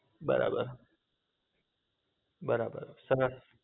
બરાબર બરાબર તમે